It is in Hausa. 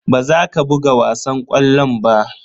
Baza ka buga wasan ƙwallon ba.